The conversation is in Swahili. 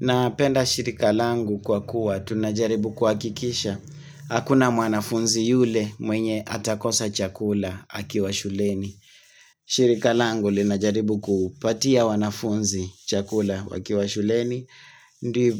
Napenda shirikalangu kwa kuwa, tunajaribu kuhakikisha. Hakuna mwanafunzi yule mwenye atakosa chakula akiwa shuleni. Shirikalangu linajaribu kupatia wanafunzi chakula wakiwa shuleni.